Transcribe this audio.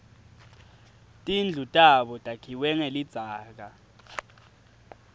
tindlu tabo takhiwe ngelidzaka